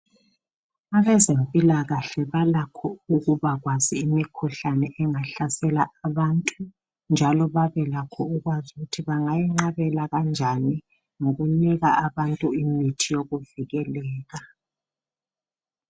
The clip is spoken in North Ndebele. Abezempilakahlle balakho ukwazi imikhuhlane engahlasela abantu, njalo. babuye babekwazi ukuthi bangayivijpkela kanjani, ngokunika abantu imithi yokuvikeleka.